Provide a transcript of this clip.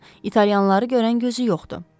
Onların italyanları görən gözü yoxdur.